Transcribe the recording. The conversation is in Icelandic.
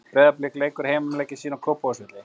Breiðablik leikur heimaleiki sína á Kópavogsvelli.